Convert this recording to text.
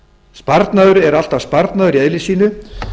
sparnaður er alltaf sparnaður i eðli sínu